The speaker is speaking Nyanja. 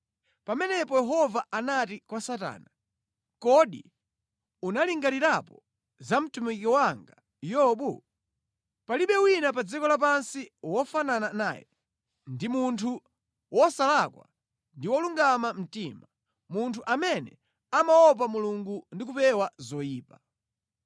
Pamenepo Yehova anati kwa Satana, “Kodi unalingalirapo za mtumiki wanga Yobu? Palibe wina pa dziko lapansi wofanana naye; ndi munthu wosalakwa ndi wolungama mtima, munthu amene amaopa Mulungu ndi kupewa zoyipa.”